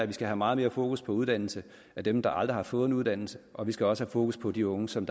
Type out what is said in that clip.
vi skal have meget mere fokus på uddannelse af dem der aldrig har fået en uddannelse og vi skal også have fokus på de unge som